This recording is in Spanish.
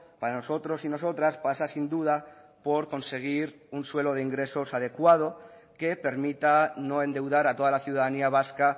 para nosotros y nosotras pasa sin duda por conseguir un suelo de ingresos adecuado que permita no endeudar a toda la ciudadanía vasca